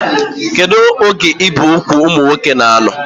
Kedụ oge ibi úgwù ụmụ nwoke na-anọ?